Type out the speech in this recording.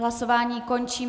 Hlasování končím.